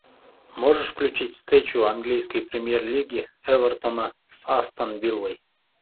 можешь включить встречу английской премьер лиги эвертона с астон виллой